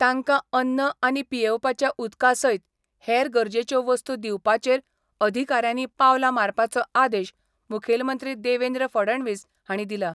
तांकां अन्न आनी पियेवपाच्या उदका सयत हेर गरजेच्या वस्तू दिवपाचेर अधिकाऱ्यांनी पावलां मारपाचो आदेश मुखेलमंत्री देवेंद्र फडणवीस हांणी दिला.